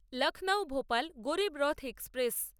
Lucknow Bhopal Garib Rath express